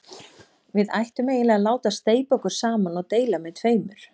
Við ættum eiginlega að láta steypa okkur saman og deila með tveimur.